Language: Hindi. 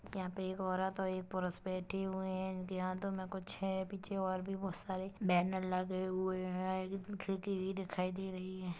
यहाँ पे एक औरत और एक पुरुष बैठे हुए है इनके हाथों में कुछ है पीछे और भी बहुत सारे बैनर लगे हुए है खिड़की भी दिखाई दे रही हैं।